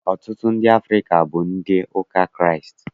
Ọtụtụ ndị Afrịka bụ ndị ụka Kraịst